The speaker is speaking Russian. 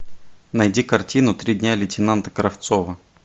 найди картину три дня лейтенанта кравцова